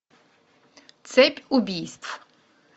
цепь убийств